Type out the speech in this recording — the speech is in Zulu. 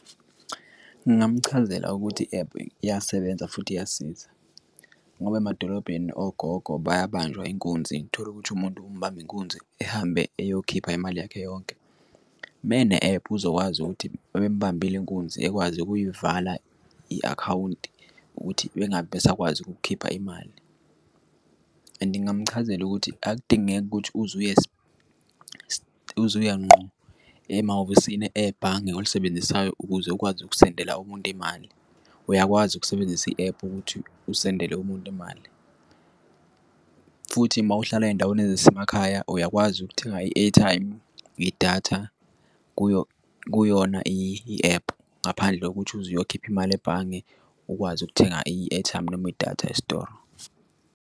Ngingamchazela ukuthi i-ephu iyasebenza futhi iyasiza ngoba emadolobheni ogogo bayabanjwa inkunzi. Tholukuthi umuntu umubamba inkunzi ehambe eyokhipha imali yakhe yonke mene-ephu uzokwazi ukuthi babembambile inkunzi ekwazi ukuyivala i-akhawunti ukuthi bengabi besakwazi ukukhipha imali. And ngingamchazela ukuthi akudingeki ukuthi uze uye uze uye ngqo emahhovisini ebhange olisebenzisayo ukuze ukwazi ukusendela umuntu imali, uyakwazi ukusebenzisa i-ephu ukuthi usendele umuntu imali futhi mawuhlala ey'ndaweni ezisemakhaya uyakwazi ukuthenga i-airtime idatha kuyo kuyona i-ephu ngaphandle kokuthi uze uzokhipha imali ebhange. Ukwazi ukuthenga i-airtime noma idatha esitoro.